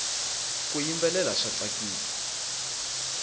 ku yimbelela swa tsakisa